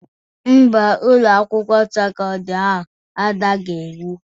Ḿbà, Ụlọ akwụkwọ sekọndrị ahụ adaghi iwu.